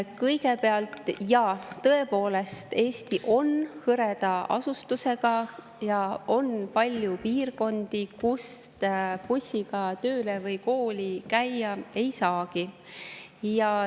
Kõigepealt, jaa, tõepoolest, Eesti on hõreda asustusega ja on palju piirkondi, kust bussiga tööle või kooli käia ei saagi.